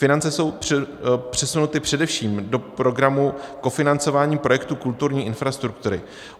Finance jsou přesunuty především do Programu kofinancování projektu kulturní infrastruktury.